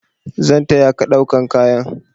Zan taya ka ɗaukan kayan.